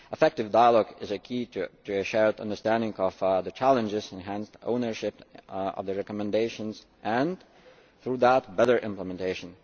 Effective dialogue is key to a shared understanding of the challenges, enhanced ownership of the recommendations and, through that, better implementation.